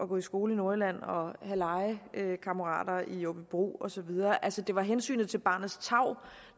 gå i skole i nordjylland og at have legekammerater i aabybro og så videre altså det var hensynet til barnets tarv